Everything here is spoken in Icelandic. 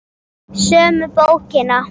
Sömu bókina?